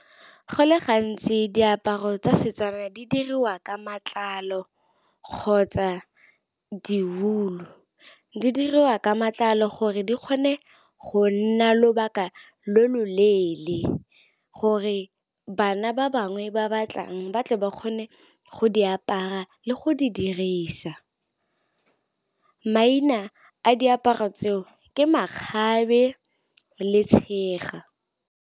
Go le gantsi diaparo tsa Setswana di diriwa ka matlalo kgotsa diulu. Di diriwa ka matlalo gore di kgone go nna lobaka lo lo leele, gore bana ba bangwe ba batlang ba tle ba kgone go di apara le go di dirisa. Maina a diaparo tseo ke makgabe le tshega.